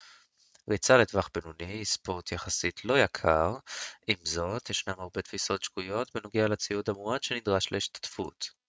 ריצה לטווח בינוני היא ספורט יחסית לא יקר עם זאת ישנן הרבה תפיסות שגויות בנוגע לציוד המועט שנדרש להשתתפות